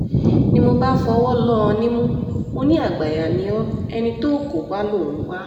ni mo bá fọwọ́ lọ ọ́ nímú mọ́ ní àgbáàyà ni o ẹni tó o kò bá lọ ń wá